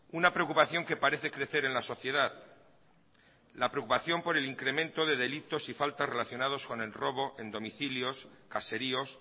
una preocupación que parece crecer en la sociedad la preocupación por el incremento de delitos y faltas relacionados con el robo en domicilios caseríos